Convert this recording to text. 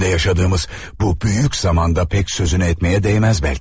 İçində yaşadığımız bu böyük zamanda pek sözünü etməyə dəyməz bəlki.